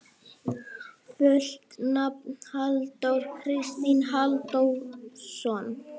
Fullt nafn: Halldór Kristinn Halldórsson.